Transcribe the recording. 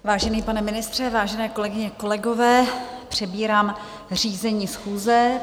Vážený pane ministře, vážené kolegyně, kolegové, přebírám řízení schůze.